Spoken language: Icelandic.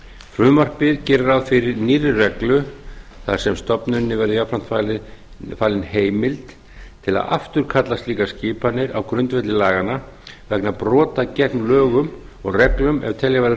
frumvarpið gerir ráð fyrir nýrri reglu þar sem stofnuninni verði jafnframt falin heimild til að afturkalla slíkar skipanir á grundvelli laganna vegna brota gegn lögum og reglum er telja verður